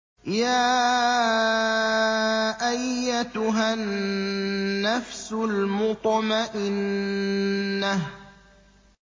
يَا أَيَّتُهَا النَّفْسُ الْمُطْمَئِنَّةُ